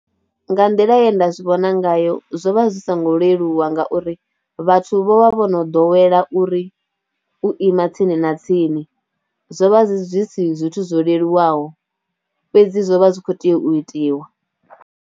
Nga nḓila ye nda zwi vhona ngayo zwo vha zwi songo leluwa ngauri vhathu vho vha vho no ḓowela uri u ima tsini na tsini, zwo vha zwi si zwithu zwo leluwaho fhedzi zwo vha zwi khou tea u itiwa.